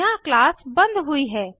यहाँ क्लास बंद हुई है